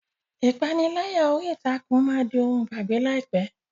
Ìpániláyà orí ìtàkùn máa di ohun ìgbàgbé láìpẹ́.